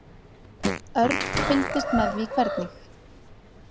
Örn fylgdist með því hvernig